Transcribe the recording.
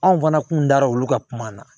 Anw fana kun dara olu ka kuma na